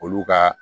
Olu ka